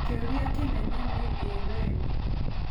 Kĩũria kĩnene nĩ, ĩ we?